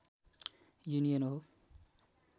union हो